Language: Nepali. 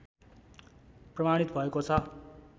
प्रमाणित भएकॊ छ